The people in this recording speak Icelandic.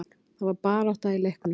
Það var barátta í leiknum.